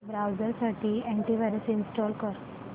browser साठी antivirus install कर